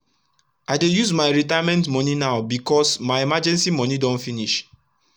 i dey use my retirement moni now becos my emergency moni don finish